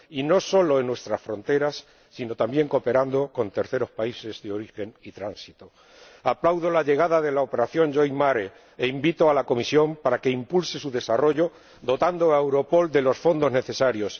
Y no solo en nuestras fronteras, sino también, cooperando con terceros países de origen y tránsito. Aplaudo la llegada de la nueva operación e invito a la Comisión a que impulse su desarrollo, dotando a Europol de los fondos necesarios.